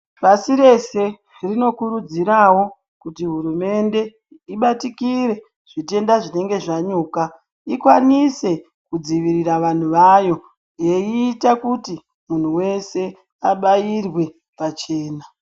Pasi rese rinokurudzirawo kuti hurumende ibatikire zvitenda zvinenge zvanyuka, ikwanise kudzivirira vanhu vayo, yeiita kuti munhu wese abairwe pachena.